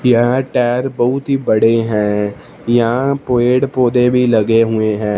यह टायर बहुत ही बड़े हैं यहां पेड़ पौधे भी लगे हुए हैं।